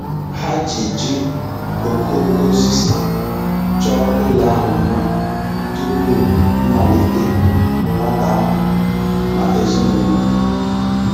Ha ji ji okooko osisi chọọ ụlọ ahụ mma tupu mmalite nwata ahụ na ezinụlọ.